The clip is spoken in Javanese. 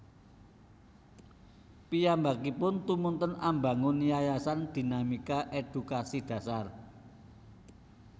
Piyambakipun tumunten ambangun Yayasan Dinamika Edukasi Dasar